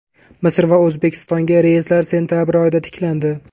Misr va O‘zbekistonga reyslar sentabr oyida tiklandi.